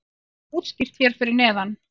það er útskýrt hér fyrir neðan